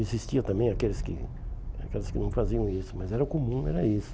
Existiam também aqueles que aqueles que não faziam isso, mas era o comum, era isso.